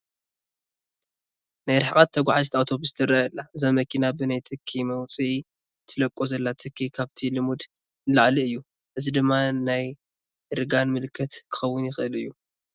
ናይ ርሕቐት ተጓዚት ኣውቶቡስ ትርአ ኣላ፡፡ እዚ መኪና ብናይ ትኪ መውፅኢ ትለቆ ዘላ ትኪ ካብቲ ልሙድ ንላዕሊ እዩ፡፡ እዚ ድማ ናይ እርጋና ምልክት ክኸውን ይኽእል እዩ፡፡